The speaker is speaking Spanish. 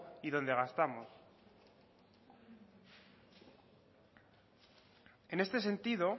y dónde gastamos en este sentido